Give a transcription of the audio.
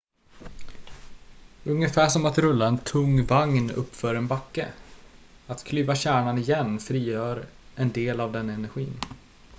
ungefär som att rulla en tung vagn uppför en backe att klyva kärnan igen frigör en del av den energin